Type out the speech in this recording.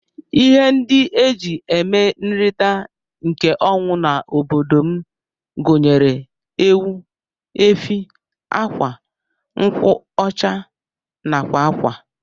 Ihe ndi eji eme nrita nke ọnwụ na obodom gunyere:Ewu, efi, akwa, nkwụ ọcha nakwa akwa.